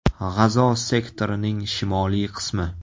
G‘azo sektorining shimoliy qismi.